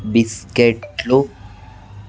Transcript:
biscuit లు --